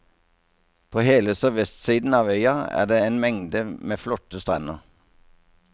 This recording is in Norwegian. På hele sørvestsiden av øya er det en mengde med flotte strender.